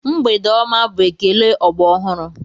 Mgbede ọma bụ ekele ọgbọ ọhụrụ.